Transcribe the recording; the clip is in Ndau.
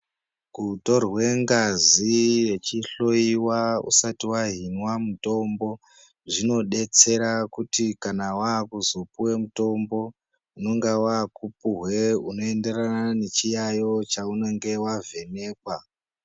Kutorwe ngazi wechiloyiwa usati wahinwa mutombo zvinodetsera kuti kana waakuzopiwe mutombo unonga wakupiwe unoenderana nechiyayiyo chaunenge wavhekekwa.